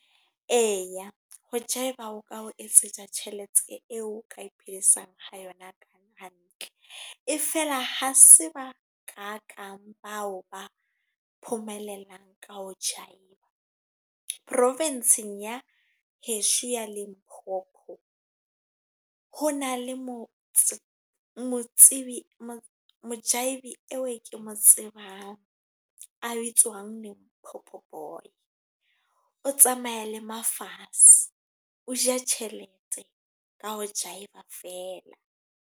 Eya ho jive-a, o ka ho etsetsa tjhelete eo ka iphedisang, ha yona hantle. E feela ha se ba ka kang bao ba ka ho jive-a. Profensing ya hesho ya Limpopo. Ho na le mo motsibi eo e ke mo tsebang a bitswang Pop Boy. O tsamaya le mafatshe, o ja tjhelete ka ho jive-a fela.